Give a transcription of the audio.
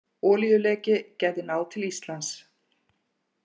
Olíuleki gæti náð til Íslands